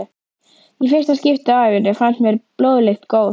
Í fyrsta skipti á ævinni fannst mér blóðlykt góð.